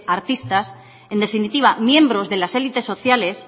artistas en definitiva miembros de las élites sociales